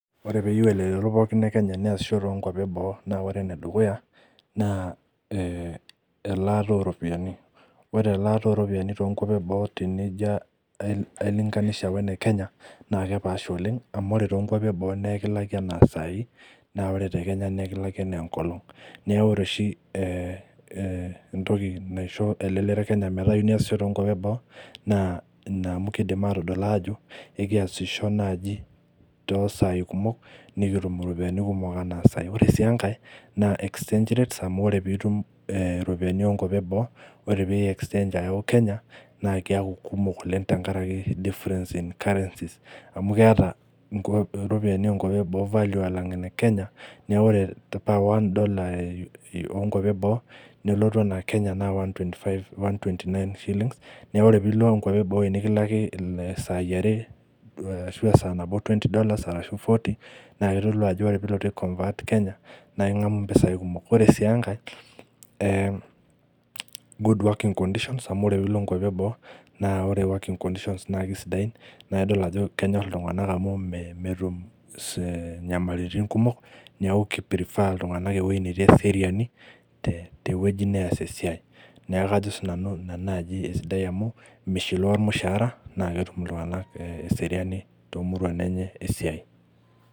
Ore pee eyieu elelero e kenya neyasisho too nkuapi e boo, naa ore ene dukuya naa, elaata oo ropiyiani amu ore elaata oo ropiyiani too nkoitoi e boo naa tenijio ai linganisha oo ne kenya naa kepaasha oleng amu ore too nkuapi e boo naa ekilaki anaa sai naa ore te Kenya naa ekilaki anaa enkolong, neeku ina naisho elelero e kenya metaasisho too nkuapi e boo. Ore enkae naa exchange rates amu teniyau nkulie currencies kenya naa ketum value .